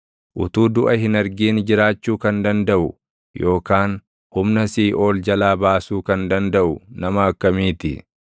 Utuu duʼa hin argin jiraachuu kan dandaʼu yookaan humna siiʼool jalaa of baasuu // kan dandaʼu nama akkamii ti?